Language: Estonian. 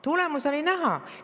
Tulemus oli näha!